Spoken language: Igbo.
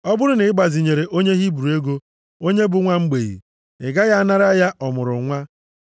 “Ọ bụrụ na ị gbazinyere onye Hibru ego, onye bụ nwa mgbei, ị gaghị anara ya ọmụrụnwa.